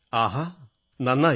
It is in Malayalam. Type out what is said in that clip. ആഹാ നന്നായി